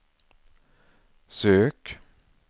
sök